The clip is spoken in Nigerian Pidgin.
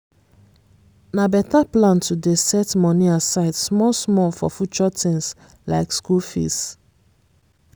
na better plan to dey set money aside small-small for future things like school fees.